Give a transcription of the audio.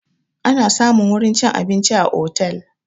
Ana samun wurin cin abinci a otel